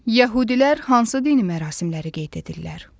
Yəhudilər hansı dini mərasimləri qeyd edirlər?